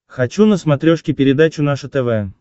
хочу на смотрешке передачу наше тв